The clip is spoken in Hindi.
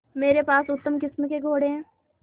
मेरे पास उत्तम किस्म के घोड़े हैं